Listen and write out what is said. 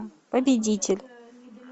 победитель